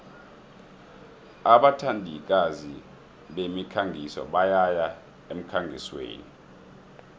abathandikazi bemikhangiso bayaya emkhangisweni